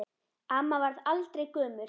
Amma varð aldrei gömul.